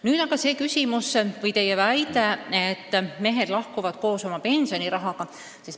Nüüd aga teie väitest, et mehed lahkuvad ja nende pensioniraha jääb saamata.